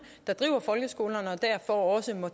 der driver folkeskolerne og derfor også må